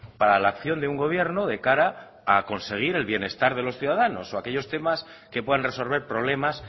para la acción de un gobierno de cara a conseguir el bienestar de los ciudadanos o aquellos temas que puedan resolver problemas